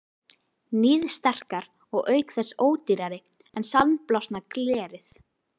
Níðsterkar og auk þess ódýrari en sandblásna glerið.